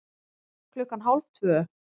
Klukkan hálf tvö